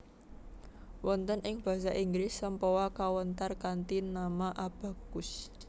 Wonten ing Basa Inggris sempoa kawéntar kanthi nama abacus